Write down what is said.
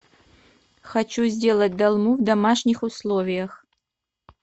хочу сделать долму в домашних условиях